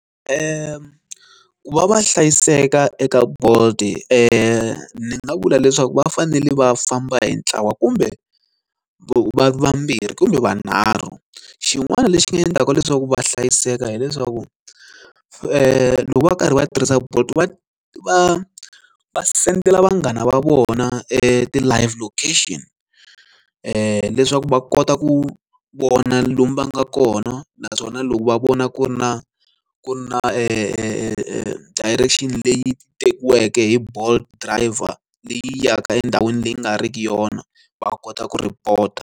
Va va hlayiseka eka bolt ni nga vula leswaku va fanele va famba hi ntlawa kumbe vambirhi kumbe vunharhu xin'wana lexi nga endlaka leswaku va hlayiseka hileswaku loko va ri karhi va tirhisa bolt va va va sendela vanghana va vona e ti live location leswaku va kota ku vona lomu va nga kona naswona loko va vona ku ri na ku ri na e e e direction leyi tekiweke hi bolt driver leyi yaka endhawini leyi nga riki yona va kota ku report-a.